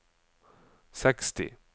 seksti